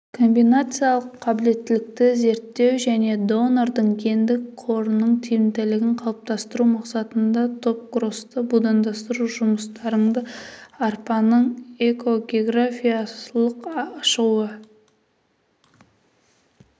комбинациялық қабілеттілікті зерттеу және донордың гендік қорының тиімділігін қалыптастыру мақсатында топкросты будандастыру жұмыстарында арпаның эко-географиялық шығу